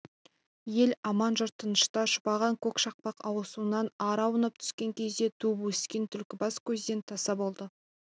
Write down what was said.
ел аман жұрт тынышта шұбаған көш шақпақ асуынан ары аунап түскен кезде туып-өскен түлкібас көзден таса болды